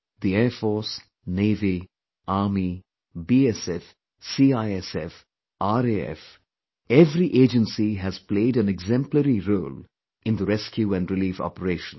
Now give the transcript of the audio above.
The Air Force, Navy, Army, BSF, CISF, RAF, every agency has played an exemplary role in the rescue & relief operations